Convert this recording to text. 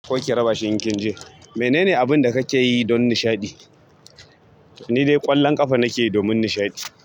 Ko ki raba shi in kin je. Menene abin da kake yi don nishaɗi? Ni dai ƙwallon ƙafa nake yi domin nishaɗi.